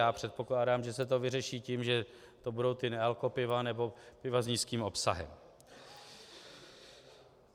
Já předpokládám, že se to vyřeší tím, že to budou ta nealkopiva nebo piva s nízkým obsahem.